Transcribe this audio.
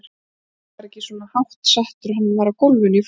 Gústi var ekki svona hátt settur, hann var á gólfinu í forritun.